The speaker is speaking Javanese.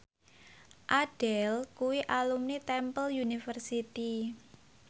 Adele kuwi alumni Temple University